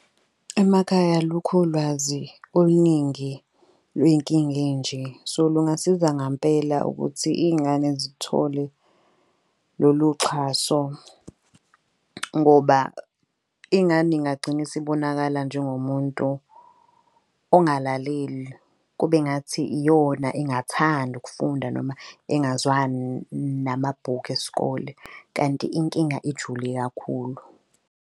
Emakhaya alukhu ulwazi oluningi lwey'nkinga ey'nje. So lungasiza ngampela ukuthi iy'ngane zithole lolu xhaso ngoba ingane ingagcina isibonakala njengo muntu ongalaleli. Kube engathi iyona engathandi ukufunda noma engazwani namabhuku esikole. Kanti inkinga ijule kakhulu.